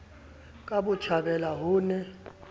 ka botjhabela ho ho ne